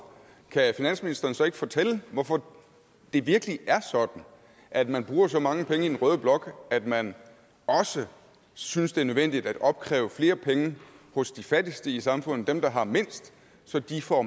kan finansministeren så ikke fortælle hvorfor det virkelig er sådan at man bruger så mange penge i den røde blok at man synes det er nødvendigt at opkræve flere penge hos de fattigste i samfundet altså dem der har mindst så de får